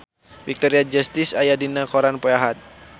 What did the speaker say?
Victoria Justice aya dina koran poe Ahad